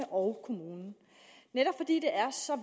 og kommunen netop fordi det er så